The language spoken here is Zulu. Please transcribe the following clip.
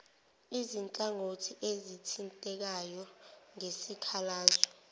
izinhlangothi ezithintekayo ngesikhalazo